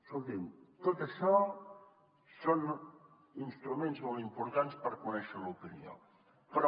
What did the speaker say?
escoltin tot això són instruments molt importants per conèixer l’opinió però